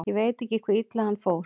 Ég veit ekki hve illa hann fór.